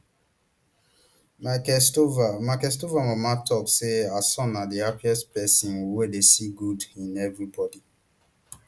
michael stovall michael stovall mama tok say her son na di happiest pesin wey dey see good in evri body